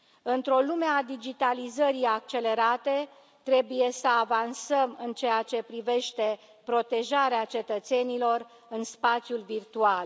Într o lume a digitalizării accelerate, trebuie să avansăm în ceea ce privește protejarea cetățenilor în spațiul virtual.